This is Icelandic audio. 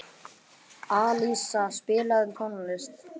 Alísa, spilaðu tónlist.